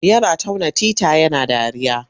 Yana tauna tita yana dariya.